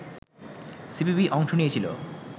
CPB অংশ নিয়েছিলো